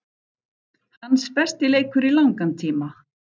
Hans besti leikur í langan tíma.